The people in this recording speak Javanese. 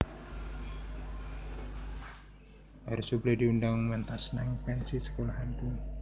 Air Supply diundang mentas nang pensi sekolahanku